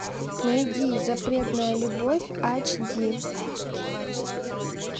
найди запретная любовь эйч ди